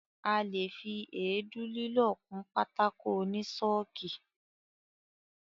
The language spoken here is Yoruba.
A lè fi èédú lílọ̀ kun pátákó oní ṣọ́ọ̀kì.